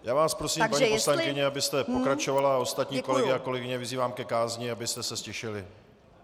Já vás prosím, paní poslankyně, abyste pokračovala, a ostatní kolegy a kolegyně vyzývám ke kázni, abyste se ztišili.